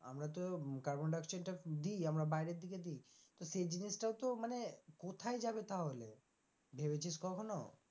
আমরা তো কার্বন ডাই অক্সাইডটা দিই আমরা বাইরের দিকে দি তো সেই জিনিসটাও তো মানে কোথায় যাবে তাহলে ভেবেছিস কখনো?